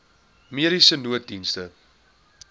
mediese nooddienste